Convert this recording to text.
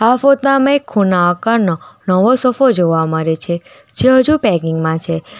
આ ફોતા માં એક ખૂણા આકારનો નવો સોફો જોવા મરે છે જે હજુ પેકિંગ માં છે.